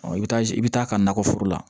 Ɔ i bɛ taa i bɛ taa ka nakɔ foro la